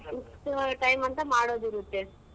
ಇಷ್ಟ್ time ಅಂತ ಮಾಡೋದಿರತ್ತೆ.